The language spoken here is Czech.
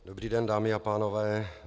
Dobrý den, dámy a pánové.